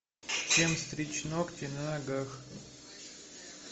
чем стричь ногти на ногах